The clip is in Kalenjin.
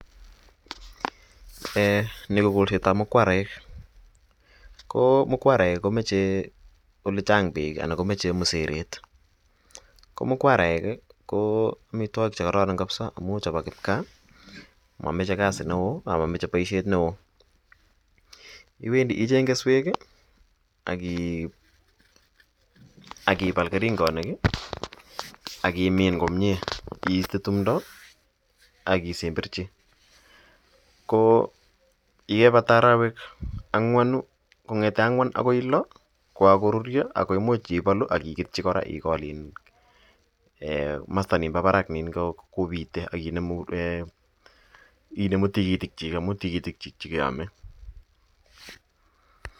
Eeh nii ko kolsetab mukwaraek, ko mukwaraek komoche olechang beek anan komoche elee sereet, ko mukwaraek ko amitwokik chekororon kabisaa amun chebo kipkaa amomoche kasi neoo amamoche boishet neoo, iwendi icheng keswek akibal kering'onik ak imin komnyee iste timdo ak isemberchi, ko yebata arowek ang'wanu kong'ete ang'wan akoi loo ko kokorurio ak ko imuch iketyi kora ikol iin komosto ng'o nimbo barak kobite ak inemu tikitikyik amun tikitik chekeome.